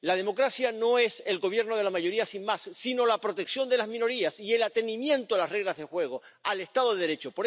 La democracia no es el gobierno de la mayoría sin más, sino la protección de las minorías y el atenerse a las reglas de juego, al Estado de Derecho.